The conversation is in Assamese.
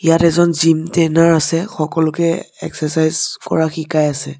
ইয়াত এজন জিম ট্ৰেইনাৰ আছে সকলোকে এক্সেচাইছ কৰা শিকাই আছে।